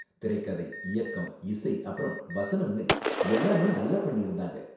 திரைக்கதை, இயக்கம், இசை அப்பறம் வசனம்னு எல்லாமே நல்லா பண்ணியிருந்தாங்க.